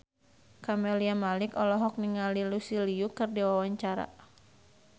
Camelia Malik olohok ningali Lucy Liu keur diwawancara